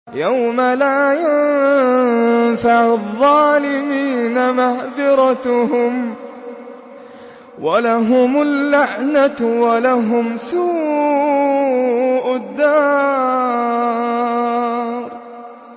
يَوْمَ لَا يَنفَعُ الظَّالِمِينَ مَعْذِرَتُهُمْ ۖ وَلَهُمُ اللَّعْنَةُ وَلَهُمْ سُوءُ الدَّارِ